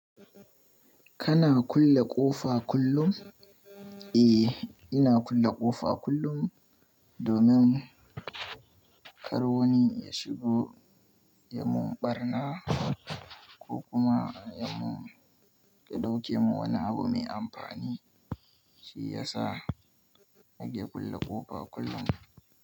Kana kulle ƙofa kullum? Eh, ina kulle ƙofa kullum domin kar wani ya shigo ya mun ɓarna ko kuma ya ɗauke mun wani abu mai amfani. Shi ya sa muke kulle ƙofa kullum.